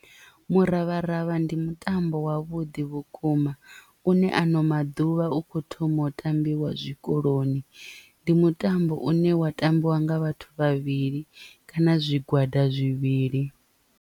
Muravharavha ndi mutambo wa vhuḓi vhukuma une ano maḓuvha u kho thoma u tambiwa zwikoloni ndi mutambo une wa tambiwa nga vhathu vhavhili kana zwigwada zwivhili.